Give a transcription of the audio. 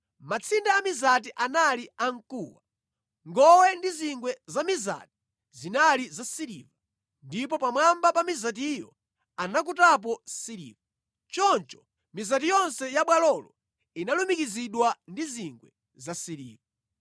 Matsinde amizati anali amkuwa. Ngowe ndi zingwe za mizati zinali zasiliva, ndipo pamwamba pa mizatiyo anakutapo siliva. Choncho mizati yonse ya bwalolo inalumikizidwa ndi zingwe zasiliva.